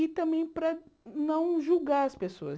E também para não julgar as pessoas.